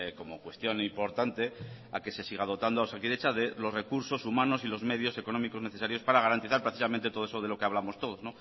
como cuestión importante a que se siga dotando a osakidetza de los recursos humanos y los medios económicos necesarios para garantizar precisamente todo eso de lo que hablamos todos